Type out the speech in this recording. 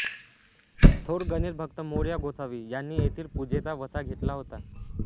थोर गणेशभक्त मोरया गोसावी यांनी येथील पूजेचा वसा घेतला होता